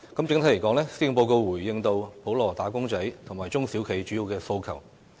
整體而言，施政報告回應到普羅"打工仔"和中小企主要的訴求。